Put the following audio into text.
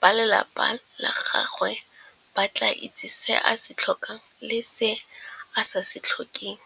ba lelapa la gagwe ba tla itse se a se tlhokang le se a sa se tlhokeng.